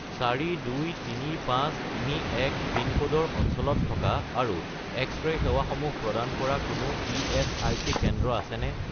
423531 পিনক'ডৰ অঞ্চলত থকা আৰু এক্স-ৰে সেৱাসমূহ প্ৰদান কৰা কোনো ইএচআইচি কেন্দ্ৰ আছেনে?